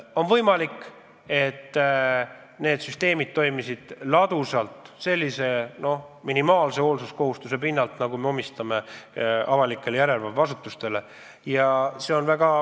On võimalik, et süsteem toimis ladusalt tänu sellisele minimaalsele hoolsuskohustusele, nagu me oleme omistanud avalikele järelevalveasutustele.